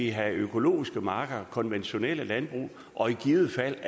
have økologiske marker konventionelle landbrug og i givet fald